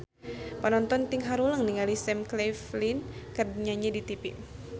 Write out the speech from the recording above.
Panonton ting haruleng ningali Sam Claflin keur nyanyi di tipi